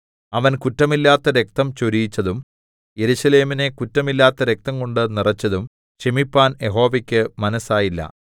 അവൻ കുറ്റമില്ലാത്ത രക്തം ചൊരിയിച്ചതും യെരൂശലേമിനെ കുറ്റമില്ലാത്ത രക്തംകൊണ്ട് നിറെച്ചതും ക്ഷമിപ്പാൻ യഹോവയ്ക്ക് മനസ്സായില്ല